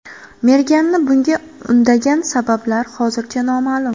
Merganni bunga undagan sabablar hozircha noma’lum.